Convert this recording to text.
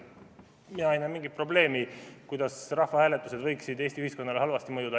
Ma ei näe mingit probleemi, kuidas rahvahääletused võiksid Eesti ühiskonnale halvasti mõjuda.